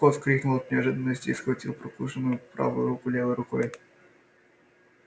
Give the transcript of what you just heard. скотт вскрикнул от неожиданности и схватил прокушенную правую руку левой рукой